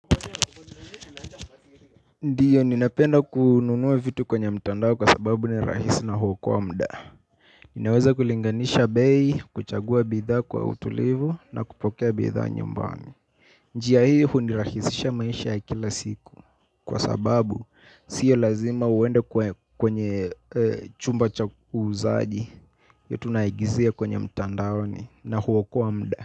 Ndiyo ninapenda kununua vitu kwenye mtandao kwa sababu ni rahisi na huokoa mda naweza kulinganisha bei kuchagua bidhaa kwa utulivu na kupokea bidhaa nyumbani njia hii hunirahisishia maisha ya kila siku kwa sababu sio lazima uende kwenye chumba cha uuzaji yotunaigizia kwenye mtandaoni na huokoa mda.